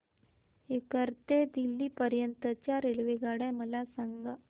सीकर ते दिल्ली पर्यंत च्या रेल्वेगाड्या मला सांगा